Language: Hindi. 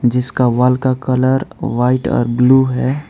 जिसका वॉल का कलर वाइट और ब्लू है।